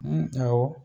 awɔ